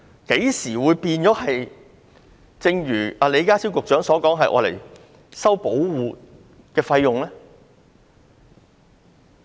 何時變了李家超局長所說要收取保護費用呢？